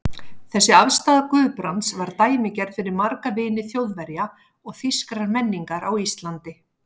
Þessi afstaða Guðbrands var dæmigerð fyrir marga vini Þjóðverja og þýskrar menningar á Íslandi.